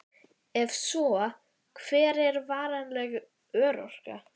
Ef svo, hver er varanleg örorka?